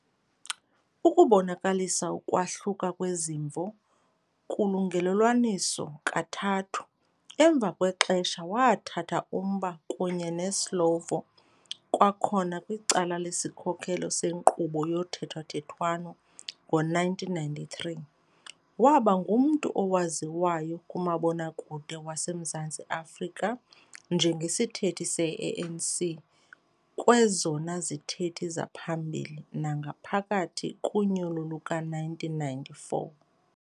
Ukubonakalisa ukwahluka kwezimvo kulungelelwaniso kathathu. Emva kwexesha wathatha umba kunye neSlovo kwakhona kwicala lesikhokelo senkqubo yothethathethwano ngo-1993. Waba ngumntu owaziwayo kumabonwakude waseMzantsi-Afrika njengesithethi se-ANC kwezona zithethi zaphambili nangaphakathi kunyulo luka-1994.